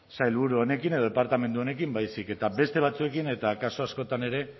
sailburu honekin edo departamentu honekin baizik eta beste batzuekin eta kasu askotan ere